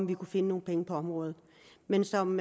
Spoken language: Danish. vi kunne finde nogle penge på området men som